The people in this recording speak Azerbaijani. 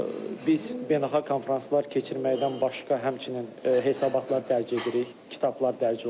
Biz beynəlxalq konfranslar keçirməkdən başqa həmçinin hesabatlar dərc edirik, kitablar dərc olunur.